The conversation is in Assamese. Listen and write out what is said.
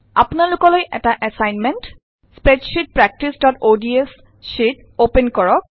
সৰ্বাত্মক কাম স্প্ৰেডশ্যিট প্ৰেকটিছods শ্যিট অপেন কৰক